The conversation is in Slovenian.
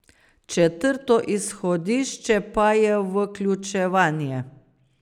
Četrto izhodišče pa je vključevanje.